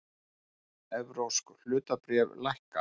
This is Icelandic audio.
Evrópsk hlutabréf lækka